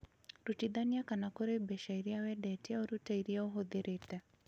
rutithania kuma kuri mbeca iria wendetie urute iria ũhũthirĩte